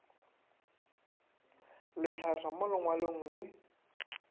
le hlatha mo lengwalong le